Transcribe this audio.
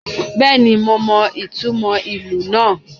Bẹ́ẹ̀ni, mo mọ ìtumò ìlù náà